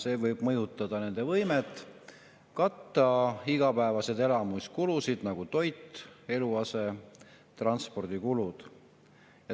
See võib mõjutada nende võimet katta igapäevaseid elamiskulusid, nagu toit, eluase ning transport.